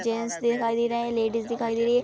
Gents दिखाई दे रहे है। लेडीज दिखाई दे रही है।